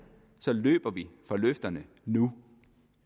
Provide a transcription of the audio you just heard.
så løber den fra løfterne nu